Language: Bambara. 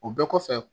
O bɛɛ kɔfɛ